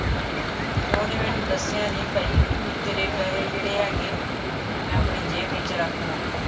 ਤੇ ਉਹਨੇ ਮੈਨੂੰ ਦੱਸਿਆ ਨਹੀਂ, ਭਾਈ ਤੇਰੇ ਪੈਸੇ ਜਿਹੜੇ ਹੈਗੇ, ਮੈ ਆਪਣੀ ਜੇਬ ਵਿੱਚ ਰੱਖ ਲਾ।